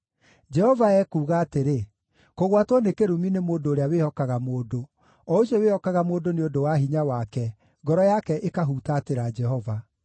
Jehova ekuuga atĩrĩ: “Kũgwatwo nĩ kĩrumi nĩ mũndũ ũrĩa wĩhokaga mũndũ, o ũcio wĩhokaga mũndũ nĩ ũndũ wa hinya wake, ngoro yake ĩkahutatĩra Jehova.